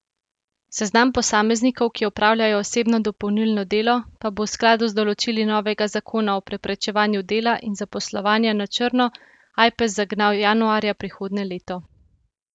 Seznam posameznikov, ki opravljajo osebno dopolnilno delo, pa bo v skladu z določili novega zakona o preprečevanju dela in zaposlovanja na črno Ajpes zagnal januarja prihodnje leto.